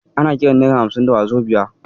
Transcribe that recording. Ana kiran nera hamsin da wazobiya.